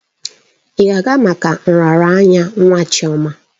Ị ga-aga maka nraranye nwa Chioma?